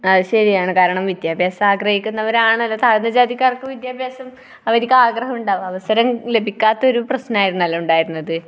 ആ അത് ശരിയാണ്. കാരണം വിദ്യാഭ്യാസം ആഗ്രഹിക്കുന്നവരാണല്ലോ, താഴ്ന്ന ജാതിക്കാർക്ക് വിദ്യാഭ്യാസം അവർക്ക് ആഗ്രഹമുണ്ടാകും. അവസരം ലഭിക്കാത്ത ഒരു പ്രശ്നം ആയിരുന്നല്ലോ ഉണ്ടായിരുന്നത്.